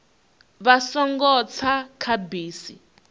vha songo tsa kha bisi